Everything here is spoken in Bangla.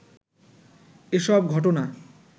এসব ঘটনা